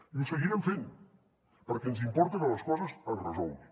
i ho seguirem fent perquè ens importa que les coses es resolguin